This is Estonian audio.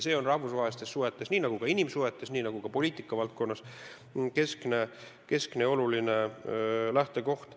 See on rahvusvahelistes suhetes, nii nagu ka inimsuhetes ja poliitikavaldkonnas keskne ja oluline lähtekoht.